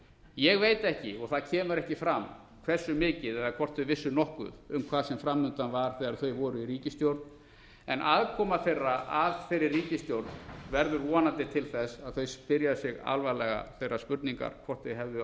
ég veit ekki og það kemur ekki fram hversu mikið eða hvort þau vissu nokkuð um hvað sem framundan var þegar þau voru í ríkisstjórn en aðkoma þeirra að þeirri ríkisstjórn verður vonandi til þess að þau spyrja sig alvarlega þeirra spurninga hvort þau hefðu átt að